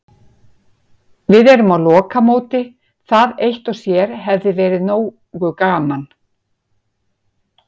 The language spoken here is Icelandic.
Við erum á lokamóti, það eitt og sér hefði verið nógu gaman.